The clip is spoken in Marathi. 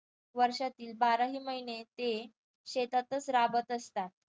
वर्षातील बाराही महिने ते शेतातच राबत असतात.